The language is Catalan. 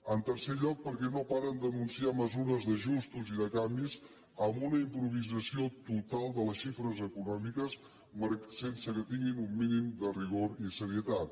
en tercer lloc perquè no paren d’anunciar mesures d’ajustos i de canvis amb una improvisació total de les xifres econòmiques sense que tinguin un mínim de rigor i serietat